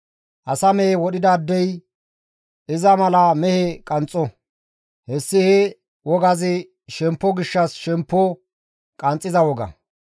Asa mehe wodhidaadey iza mala mehe qanxxo; hessi he waagazi shemppo gishshas shemppo qanxxiza woga.